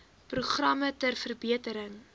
programme ter verbetering